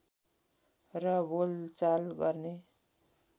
र बोलचाल गर्ने